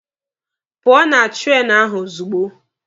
Pụọ na treenụ ahụ ozugbo!